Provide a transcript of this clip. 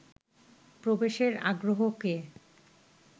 প্রবেশের আগ্রহকে